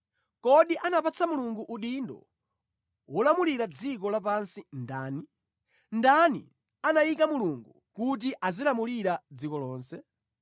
Kodi anapatsa Mulungu udindo wolamulira dziko lapansi ndani? Ndani anayika Mulungu kuti azilamulira dziko lonse?